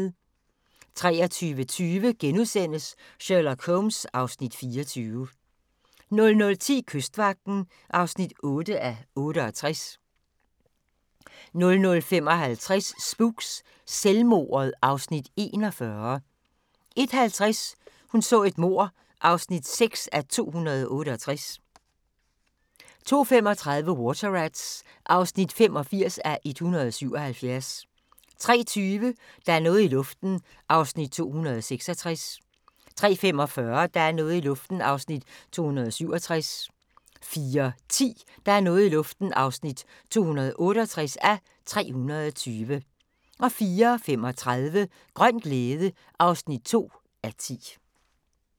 23:20: Sherlock Holmes (Afs. 24)* 00:10: Kystvagten (8:68) 00:55: Spooks: Selvmordet (Afs. 41) 01:50: Hun så et mord (6:268) 02:35: Water Rats (85:177) 03:20: Der er noget i luften (266:320) 03:45: Der er noget i luften (267:320) 04:10: Der er noget i luften (268:320) 04:35: Grøn glæde (2:10)